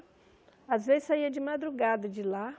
Às vezes saía de madrugada de lá.